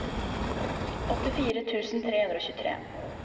åttifire tusen tre hundre og tjuetre